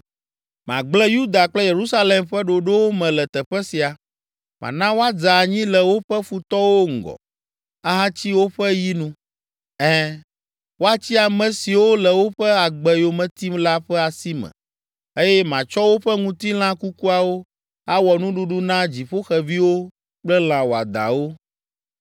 “ ‘Magblẽ Yuda kple Yerusalem ƒe ɖoɖowo me le teƒe sia. Mana woadze anyi le woƒe futɔwo ŋgɔ, ahatsi woƒe yi nu. Ɛ̃, woatsi ame siwo le woƒe agbe yome tim la ƒe asi me, eye matsɔ woƒe ŋutilã kukuawo awɔ nuɖuɖu na dziƒoxeviwo kple lã wɔadãwo.